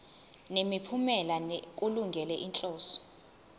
nemiphumela kulungele inhloso